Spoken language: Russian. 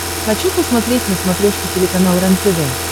хочу посмотреть на смотрешке телеканал рентв